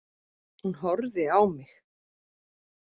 Hún horfði á mig.